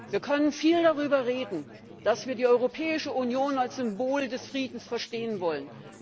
Wie können viel darüber reden, dass wir die Europäische Union als Symbol des Friedens verstehen wollen.